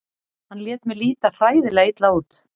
Hann lét mig líta hræðilega illa út.